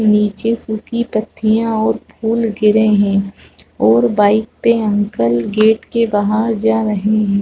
नीचे सूखी पत्थियां और फूल गिरे हैं और बाइक पे अंकल गेट के बाहर जा रहे हैं।